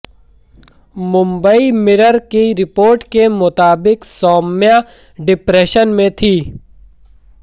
Mumbai Mirror की report के मुताबिक सौम्या डिप्रेशन में थी